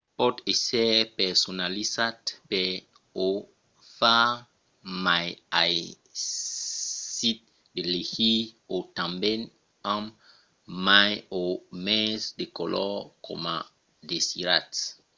pòt èsser personalizat per o far mai aisit de legir e tanben amb mai o mens de color coma o desiratz